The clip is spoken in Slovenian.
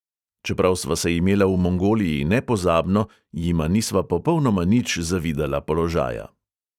Čeprav sva se imela v mongoliji nepozabno, jima nisva popolnoma nič zavidala položaja.